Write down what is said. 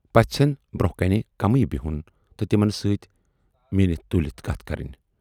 پٔژھن برونہہ کنہِ کمٕے بیہُن تہٕ تِمن سۭتۍ میٖنِتھ تُلِتھ کتھٕ کرٕنۍ۔